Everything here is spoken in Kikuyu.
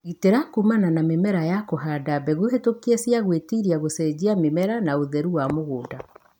gitĩra kumana na mĩrimũ na kũhanda mbegũ hĩtũkie cia gwĩtiria ,gũcenjania mĩmera na ũtheru wa mũgũnda.